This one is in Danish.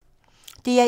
DR1